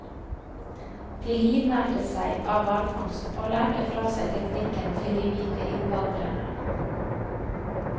De livnærte seg av hvalfangst, og lærte fra seg teknikken til de hvite innvandrerne.